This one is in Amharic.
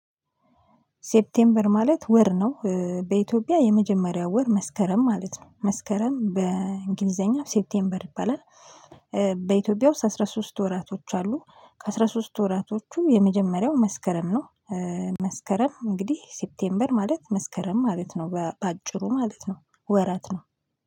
ሴፕቴምበር ማለት ወር ነው በኢትዮጵያ የመጀመሪያው ወር መስከረም ማለት ነው መስከረም በእንግሊዘኛ ሴፕቴምበር ይባላል። በኢትዮጵያ ውስጥ አስራ ሶስት ወራቶች አሉ ከአስራ ሶስት ወራቶቹ የመጀመሪያው መስከረም ነው። መስከረም እንግዲህ ሴፕቴምበር ማለት መስከረም ማለት ነው በአጭሩ ማለት ነው። ወራት ነው